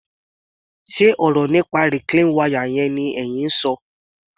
Ṣe ọ̀rọ̀ nípa reclean wire ni ẹyin ń ṣọ?